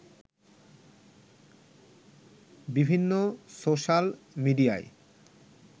বিভিন্ন সোশাল মিডিয়ায়